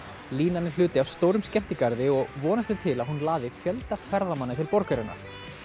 línan er hluti af stórum skemmtigarði og vonast er til að hún laði fjölda ferðamanna til borgarinnar